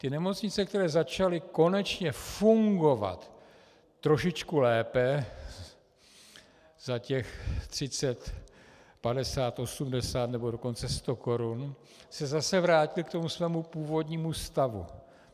Ty nemocnice, které začaly konečně fungovat trošičku lépe za těch 30 - 50 - 80 nebo dokonce 100 korun, se zase vrátily k tomu svému původnímu stavu.